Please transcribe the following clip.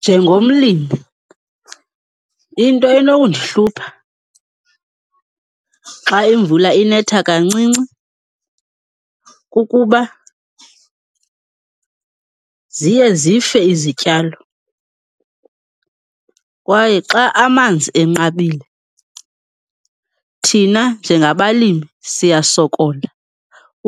Njengomlimi, into enokundihlupha xa imvula inetha kancinci kukuba ziye zife izityalo kwaye xa amanzi enqabile, thina njengabalimi siyasokola